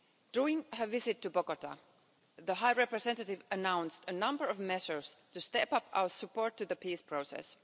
During her visit to Bogotá, the High Representative announced a number of measures to step up our support to the peace process.